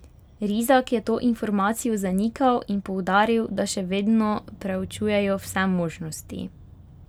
Rizak je to informacijo zanikal in poudaril, da še vedno preučujejo vse možnosti.